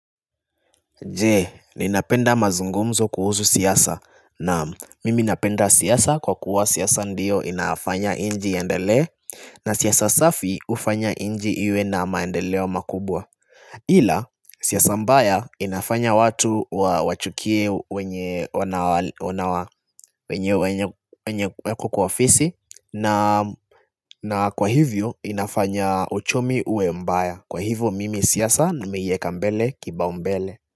Jee, ninapenda mazungumzo kuhusu siasa naam mimi napenda siasa kwa kuwa siasa ndiyo inafanya nchi iendelee na siasa safi ufanya nchi iwe na maendeleo makubwa ila siasa mbaya inafanya watu wachukie wenye wako kwa ofisi na na kwa hivyo inafanya uchumi uwe mbaya kwa hivyo mimi siasa nimeieka mbele kibaumbele.